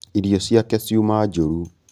Irio ciake ciuma njūru